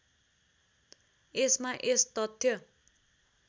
यसमा यस तथ्य